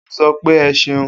O sopé e ṣeun